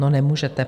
No, nemůžete.